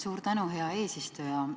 Suur tänu, hea eesistuja!